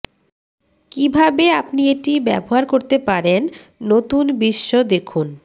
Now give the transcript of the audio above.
কিভাবে আপনি এটি ব্যবহার করতে পারেন নতুন বিশ্ব দেখুন